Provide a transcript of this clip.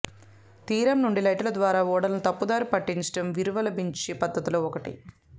తీరంనుండి లైటుల ద్వారా ఓడలను తప్పుదారి పట్టించడం వీరవలంబించే పద్ధతులలో ఒకటి